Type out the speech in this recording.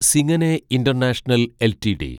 സിങ്ങനെ international LTD